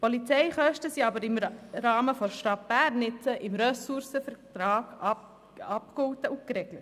Die Polizeikosten sind aber im Fall der Stadt Bern nicht so im Ressourcenvertrag abgegolten und geregelt.